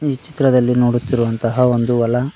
ಈ ಚಿತ್ರದಲ್ಲಿ ನೋಡುತ್ತಿರುವಂತಹ ಒಂದು ಹೊಲ--